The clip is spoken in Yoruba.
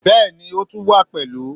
Bẹ́ẹ̀ni, o tun wa pẹlu